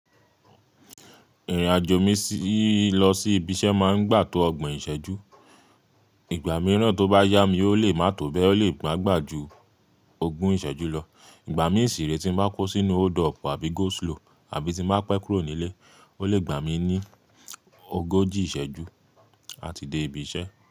Ìrìnàjò mi lọ sí ibi iṣẹ́ máa ń gbà tó ọgbọ̀n ìṣẹ́jú. Ìgbà mìíràn tó bá yá mi, ó lè má tó bẹ́ẹ, ó lè gbà gbà ju ogún ìṣẹ́jú lọ. Ìgbà mí ṣiré tí n bá kó sínú hold up àbí go slow àbí tí n bá pẹ́ kúrò nílé, ó lè gbà mí ní ogójì ìṣẹ́jú láti de ibi iṣẹ́.